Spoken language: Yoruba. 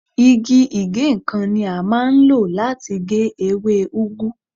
Igi ìgéǹkan ni a máa ń lò láti gé ewé úgú.